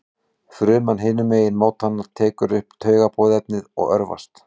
Fruman hinum megin mótanna tekur upp taugaboðefnið og örvast.